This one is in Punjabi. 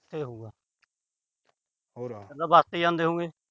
ਉਥੇ ਹੋਏ। ਫੇਰ ਬਸ ਤੇ ਜਾਂਦੇ ਹੋਉਗੇ।